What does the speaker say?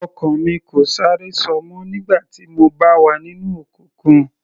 Ọ̀kan mi kò sáré ṣọ mọ́ nígbà tí mo bá wà nínú òkùnkùn.